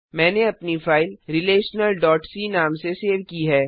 मैंने अपनी फाइल relationalसी नाम से सेव की है